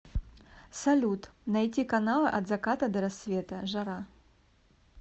салют найти каналы от заката до рассвета жара